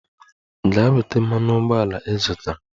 Gaa weta mmanụ ụgbọala ị zụtara!